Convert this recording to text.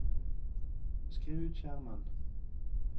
skriv ut skjermen